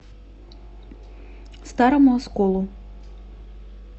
старому осколу